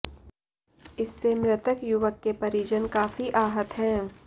इससे मृतक युवक के परिजन काफी आहत हैं